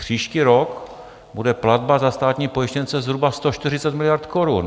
Příští rok bude platba za státní pojištěnce zhruba 140 miliard korun.